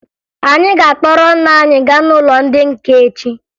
Anyị ga-akpọrọ nne anyị gaa n'ụlọ ndị nka echi